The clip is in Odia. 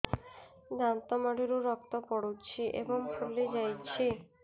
ଦାନ୍ତ ମାଢ଼ିରୁ ରକ୍ତ ପଡୁଛୁ ଏବଂ ଫୁଲି ଯାଇଛି